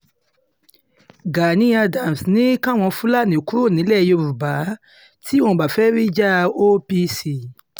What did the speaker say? gani adams ní káwọn fúlàní kúrò nílẹ̀ yorùbá tí wọn kò bá fẹ́ẹ́ ríjà apc